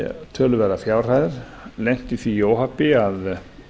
töluverðar fjárhæðir lenti í því óhappi að